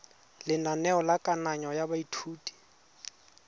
lenaneo la kananyo ya baithuti